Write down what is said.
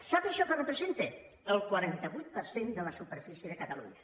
sap això què representa el quaranta vuit per cent de la superfície de catalunya